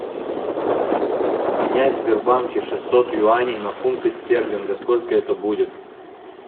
обменять в сбербанке шестьсот юаней на фунты стерлинга сколько это будет